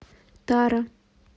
тара